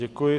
Děkuji.